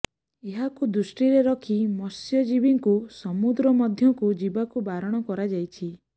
ଏହାକୁ ଦୃଷ୍ଟିରେ ରଖି ମତ୍ସ୍ୟଜୀବୀଙ୍କୁ ସମୁଦ୍ର ମଧ୍ୟକୁ ଯିବାକୁ ବାରଣ କରାଯାଇଛି